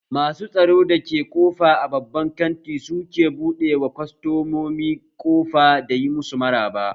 Masu tsaron da ke ƙofa a babban kanti su ke buɗe ma kwastamomi ƙofa da yi masu maraba